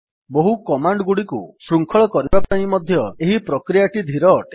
ବହୁ କମାଣ୍ଡ୍ ଗୁଡିକୁ ଶୃଙ୍ଖଳ କରିବା ପାଇଁ ମଧ୍ୟ ଏହି ପ୍ରକ୍ରିୟାଟି ଧୀର ଅଟେ